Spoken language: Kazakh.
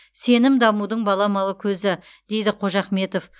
сенім дамудың баламалы көзі дейді қожахметов